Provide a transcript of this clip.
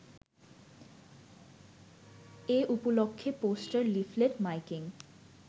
এউপলক্ষে poster, leaflet, miking